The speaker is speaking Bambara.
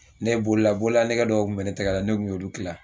Ne bolola bololanɛgɛ dɔw kun bɛ ne tɛgɛ la ne kun y'olu kila